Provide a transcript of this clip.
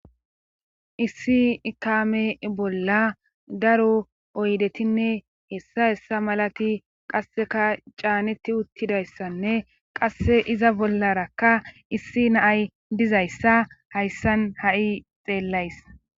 Issi ikame bolla daro oydetinne hessa hessa malati qasseka caaneti uttidayssanne qasse iza bollarakka issi naay dizayssa hayssan ha'i xeellays.